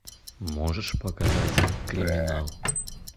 можешь показать криминал